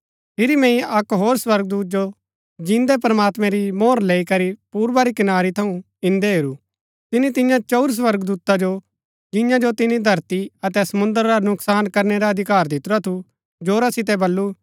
फिरी मैंई अक्क होर स्वर्गदूत जो जिन्दै प्रमात्मैं री मोहर लैई करी पूर्वा री कनारी थऊँ इंदै हेरू तिनी तियां चंऊर स्वर्गदूता जो जियां जो तिनी धरती अतै समुंद्र रा नूकसान करनै रा अधिकार दितुरा थू जोरा सितै बल्लू